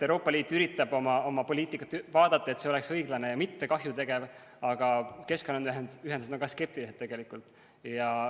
Euroopa Liit üritab oma poliitikat üle vaadata, et see oleks õiglane ja mitte kahju tegev, aga keskkonnaühendused on ka skeptilised tegelikult.